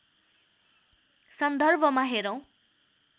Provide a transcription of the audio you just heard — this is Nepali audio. सन्दर्भमा हेरौँ